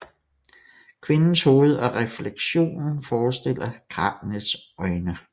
Kvindens hoved og refleksionen forestiller kraniets øjne